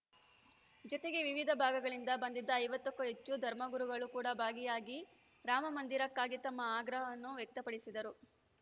ಜೊತೆಗೆ ವಿವಿಧ ಭಾಗಗಳಿಂದ ಬಂದಿದ್ದ ಐವತ್ತ ಕ್ಕೂ ಹೆಚ್ಚು ಧರ್ಮಗುರುಗಳು ಕೂಡಾ ಭಾಗಿಯಾಗಿ ರಾಮಮಂದಿರಕ್ಕಾಗಿ ತಮ್ಮ ಆಗ್ರಹವನ್ನು ವ್ಯಕ್ತಪಡಿಸಿದರು